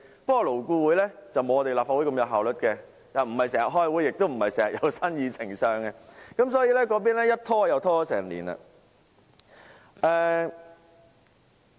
不過，勞顧會不如立法會般有效率，既不是經常開會，也不是經常有新議程，所以又拖延了1年。